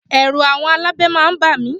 Ẹ̀rù àwọn alábẹ máa ń bà mí